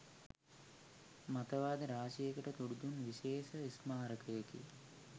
මතවාද රාශියකට තුඩුදුන් විශේෂ ස්මාරකයකි